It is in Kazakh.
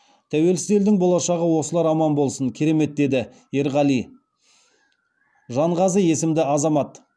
тәуелсіз елдің болашағы осылар аман болсын керемет деді еркеғали жанғазы есімді азамат